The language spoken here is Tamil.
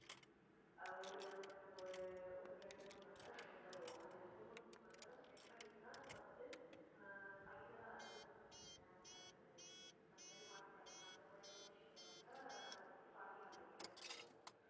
உம் அஹ் ஒரு அங்கிட்டு நம்ம ஒரு ஒரு ரெண்டு மூணு மணி நேரம் spend பண்ணுவோம். அந்த ரெண்டு மூணு மணி நேரம் spend பண்ணிட்டுதான் நம்ம வந்து அஹ் final ஆ அதாவது நம்ம வந்து dance ஆடுறது, அந்த மாதிரிப் பாட்டு பாடுறது, அந்த மாதிரி எல்லாம் விஷயம் வர்றப்ப நம்ம வந்து party hall ல meetup பண்ணுவோம்